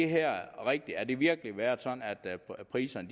her rigtigt har det virkelig været sådan at priserne